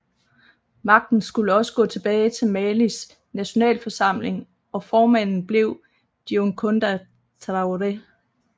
Magten skulle også gå tilbage til Malis nationalforsamling og formanden blev Diouncounda Traoré